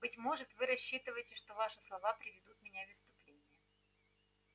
быть может вы рассчитываете что ваши слова приведут меня в исступление